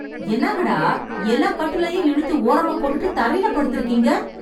என்னாங்கடா, எல்லா கட்டிலயும் இழுத்து ஓரமா போட்டுட்டு தரைல படுத்துருக்கீங்க...